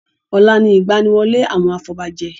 Ọ̀la ni ìgbaniwọlé àwọn afobajẹ.